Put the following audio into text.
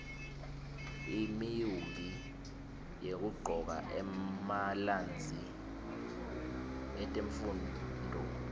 imiumbi yekuqcoka emalnzi etemfunduo